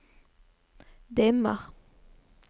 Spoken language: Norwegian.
dimmer